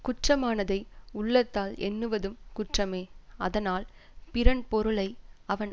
குற்றமானதை உள்ளத்தால் எண்ணுவதும் குற்றமே அதனால் பிறன் பொருளை அவன்